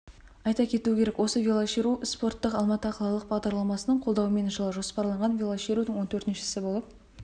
айта кету керек осы велошеру спорттық алматы қалалық бағдарламасының қолдауымен жылы жоспарланған велошерудің он төртіншісі болып